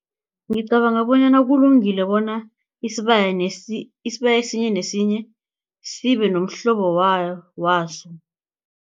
Ngicabanga bonyana kulungile bona isibaya isibaya esinye nesinye sibe nomhlobo waso.